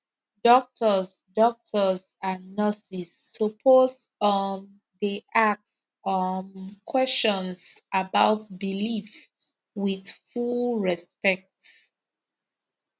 doctors doctors and nurses suppose um dey ask um questions about belief with full respect